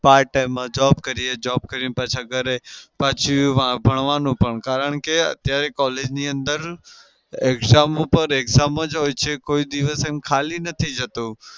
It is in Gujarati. part time માં job કરીએ. job કરીને પાછા ઘરે. પાછું ભણવાનું પણ કારણ કે અત્યારે collage ની અંદર exam ઉપર exam જ હોય છે કોઈ દિવસ ખાલી નથી જતું.